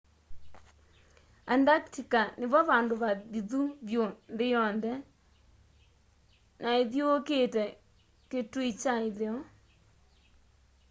antarctica nivo vandu vathithu vyu nthi yonthe na ithyuukite kitui kya itheo